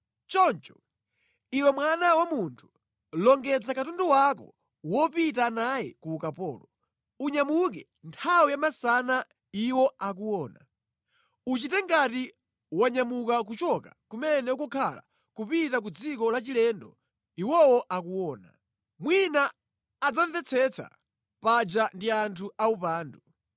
“Choncho, iwe mwana wa munthu, longedza katundu wako wopita naye ku ukapolo. Unyamuke nthawi yamasana iwo akuona. Uchite ngati wanyamuka kuchoka kumene ukukhala kupita ku dziko lachilendo iwowo akuona. Mwina adzamvetsetsa, paja ndi anthu aupandu.